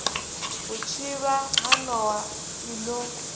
vhutshivha ha nowa i no